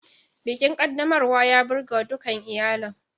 Bikin ƙaddamarwa ya burgewa dukan iyalin.